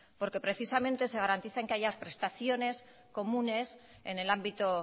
porque precisamente se garantiza que haya prestaciones comunes en el ámbito